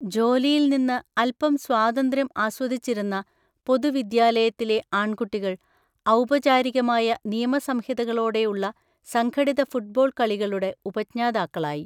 ജോലിയിൽ നിന്ന് അൽപം സ്വാതന്ത്ര്യം ആസ്വദിച്ചിരുന്ന പൊതുവിദ്യാലയത്തിലെ ആൺകുട്ടികൾ, ഔപചാരികമായ നിയമസംഹിതകളോടെയുള്ള സംഘടിത ഫുട്ബോൾ കളികളുടെ ഉപജ്ഞാതാക്കളായി.